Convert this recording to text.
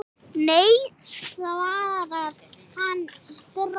Nei svarar hann strax.